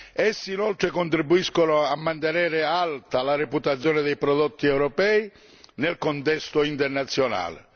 Essi contribuiscono inoltre a mantenere alta la reputazione dei prodotti europei nel contesto internazionale.